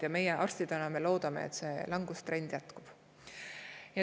Meie arstidena loodame, et see langustrend jätkub.